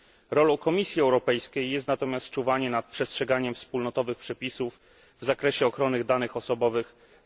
Rolą Komisji Europejskiej jest natomiast czuwanie nad przestrzeganiem wspólnotowych przepisów w zakresie ochrony danych osobowych z uwzględnieniem internetu.